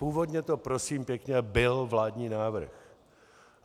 Původně to prosím pěkně byl vládní návrh.